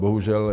Bohužel.